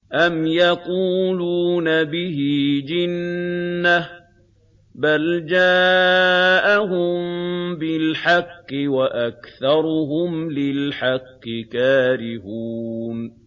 أَمْ يَقُولُونَ بِهِ جِنَّةٌ ۚ بَلْ جَاءَهُم بِالْحَقِّ وَأَكْثَرُهُمْ لِلْحَقِّ كَارِهُونَ